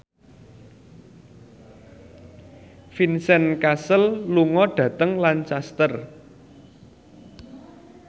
Vincent Cassel lunga dhateng Lancaster